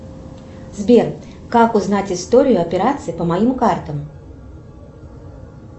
сбер как узнать историю операций по моим картам